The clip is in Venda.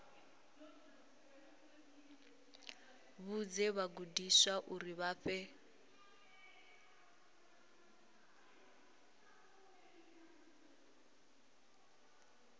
vhudze vhagudiswa uri vha fhe